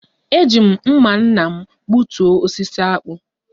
E ji m mma nna m gbutuo osisi akpu